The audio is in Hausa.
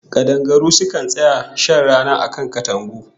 Kadangaru sukan tsaya shan rana a kan katangu